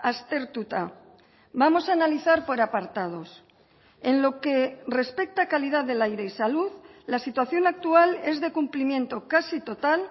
aztertuta vamos a analizar por apartados en lo que respecta a calidad del aire y salud la situación actual es de cumplimiento casi total